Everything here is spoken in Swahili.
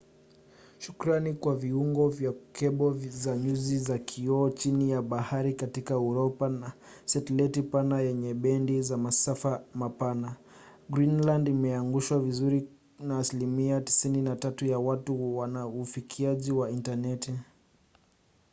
shukrani kwa viungo vya kebo za nyuzi za kioo chini ya bahari katika uropa na satelaiti pana yenye bendi za masafa mapana greenland imeunganishwa vizuri na asilimia 93 ya watu wana ufikiaji wa intaneti